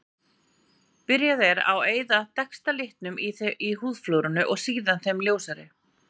Byrjað er á að eyða dekkstu litunum í húðflúrinu og síðan þeim ljósari.